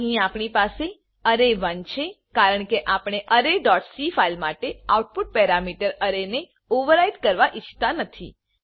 અહી આપણી પાસે અરે1 અરે છે કારણકે આપણે અરે ડોટ cફાઈલ માટે આઉટપુટ પેરામીટર અરે ને ઓવરરાઈટ કરવા ઇચ્છતા નથી